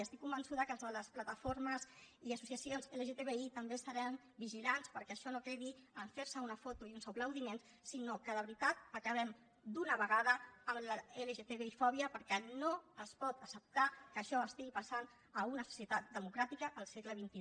i estic convençuda que els de les plataformes i associacions lgtbi també estaran vigilants perquè això no quedi en fer se una foto i uns aplaudiments sinó que de veritat acabem d’una vegada amb la lgtbifòbia perquè no es pot acceptar que això estigui passant a una societat democràtica al segle xxi